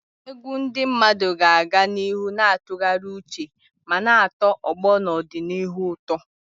Egwu ndị mmadụ ga-aga n'ihu na-atụgharị uche ma na-atọ ọgbọ n'ọdịnihu ụtọ.